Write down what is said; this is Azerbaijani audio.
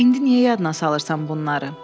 Bax, indi niyə yadına salırsan bunları?